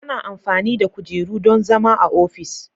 Ana amfani da kujeru don zama a ofis.